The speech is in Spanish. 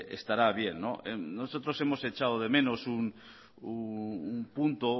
estará bien nosotros hemos echado de menos un punto